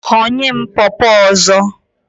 Ghọnye m pọpọ ọzọ!